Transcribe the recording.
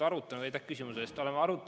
Aitäh küsimuse eest!